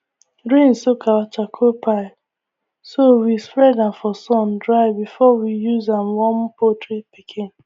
rain soak our charcoal pile so we spread am for sun dry before we use am warm poultry pikin